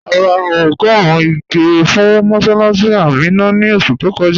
À rà ọ́gọ́run ìgè̩ fún mọ̀ssálássì Àmínà ní oṣù tó kọ́jà